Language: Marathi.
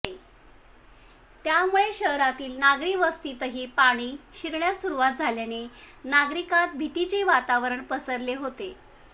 त्यामुळे शहरातील नागरी वस्तीतही पाणी शिरण्यास सुरुवात झाल्याने नागरिकांत भीतीचे वातावरण पसरले होते